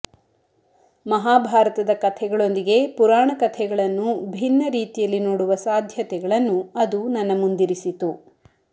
ಮಹಾಭಾರತದ ಕಥೆಗಳೊಂದಿಗೆ ಪುರಾಣ ಕಥೆಗಳನ್ನು ಭಿನ್ನ ರೀತಿಯಲ್ಲಿ ನೋಡುವ ಸಾಧ್ಯತೆಗಳನ್ನು ಅದು ನನ್ನ ಮುಂದಿರಿಸಿತು